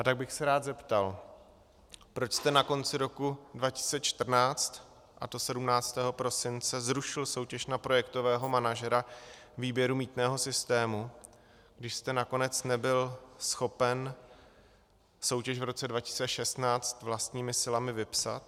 A tak bych se rád zeptal, proč jste na konci roku 2014, a to 17. prosince, zrušil soutěž na projektového manažera výběru mýtného systému, když jste nakonec nebyl schopen soutěž v roce 2016 vlastními silami vypsat.